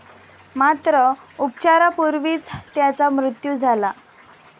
मात्र, उपचारापूर्वीच त्याचा मृत्यु झाला.